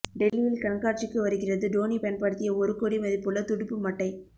டெல்லியில் கண்காட்சிக்கு வருகிறது டோனி பயன்படுத்திய ஒரு கோடி மதிப்புள்ள துடுப்புமட்டை